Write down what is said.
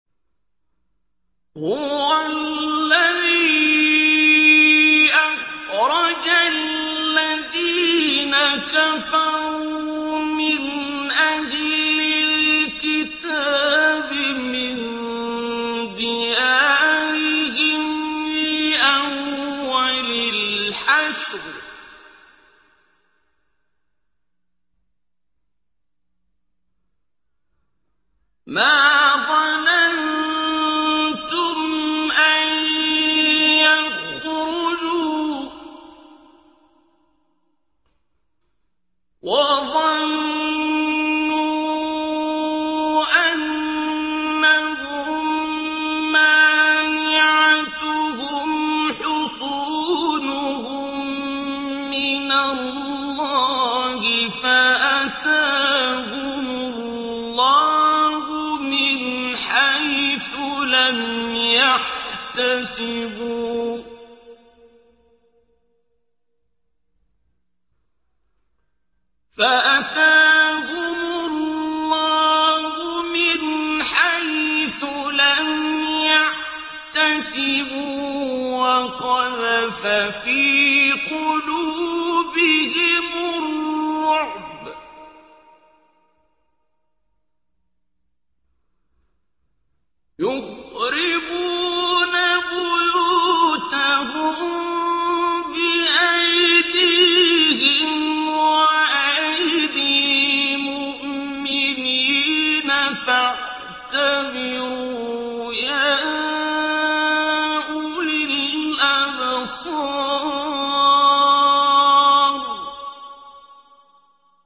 هُوَ الَّذِي أَخْرَجَ الَّذِينَ كَفَرُوا مِنْ أَهْلِ الْكِتَابِ مِن دِيَارِهِمْ لِأَوَّلِ الْحَشْرِ ۚ مَا ظَنَنتُمْ أَن يَخْرُجُوا ۖ وَظَنُّوا أَنَّهُم مَّانِعَتُهُمْ حُصُونُهُم مِّنَ اللَّهِ فَأَتَاهُمُ اللَّهُ مِنْ حَيْثُ لَمْ يَحْتَسِبُوا ۖ وَقَذَفَ فِي قُلُوبِهِمُ الرُّعْبَ ۚ يُخْرِبُونَ بُيُوتَهُم بِأَيْدِيهِمْ وَأَيْدِي الْمُؤْمِنِينَ فَاعْتَبِرُوا يَا أُولِي الْأَبْصَارِ